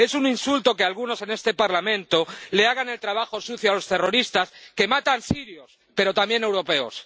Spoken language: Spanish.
Es un insulto que algunos en este Parlamento le hagan el trabajo sucio a los terroristas que matan sirios, pero también europeos.